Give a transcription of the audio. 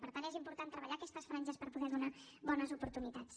per tant és important treballar aquestes franges per poder donar bones oportunitats